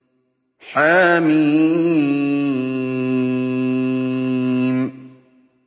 حم